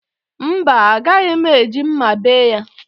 Mba, agaghị m eji mma bee ya